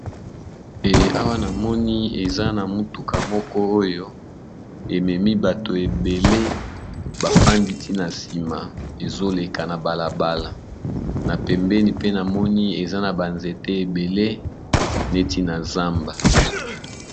Eh awa namoni eza na motuka moko oyo ememi bato ebele bafandi ti na nsima, ezoleka na bala bala na pembeni pe namoni eza na ba nzete ebele neti na zamba.